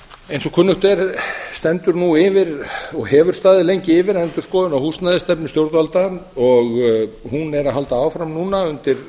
eins og kunnugt er stendur nú yfir og hefur staðið lengi yfir endurskoðun á húsnæðisstefnu stjórnvalda og hún er að halda áfram núna undir